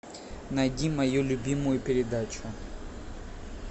найди мою любимую передачу